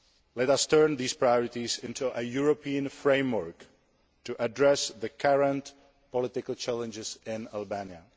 Let us turn these priorities into a European framework to address the current political challenges in Albania.